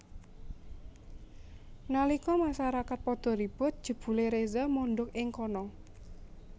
Nalika masarakat padha ribut jebulé Reza mondhok ing kana